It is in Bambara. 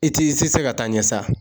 I t'i se ka taa ɲɛ sa.